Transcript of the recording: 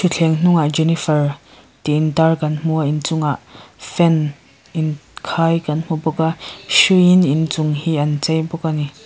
thutthleng hnungah jenifer tih intar kan hmu a inchungah fan inkhai kan hmu bawk a hruiin inchung hi an chei bawk a ni.